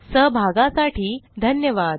सहभागासाठी धन्यवाद